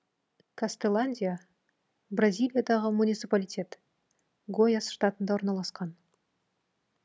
кастеландия бразилиядағы муниципалитет гояс штатында орналасқан